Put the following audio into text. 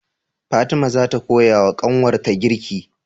Fatima zata koya wa kanwar ta girki?